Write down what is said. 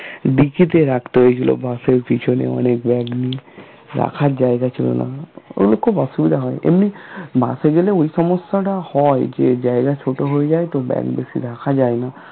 dicky তে রাখত এগুলো bus এর পিছনে অনেক bag নিয়ে রাখার জায়গা ছিল না ওগুলো খুব অসুবিধা হয় এমনি মাসে গেলে ওই সমস্যাটা হয় যে জায়গায় ছোট হয়ে যায় তো bag বেশি রাখা যায় না